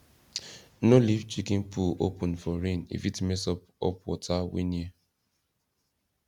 no leave chicken poo open for rain e fit mess up up water wey near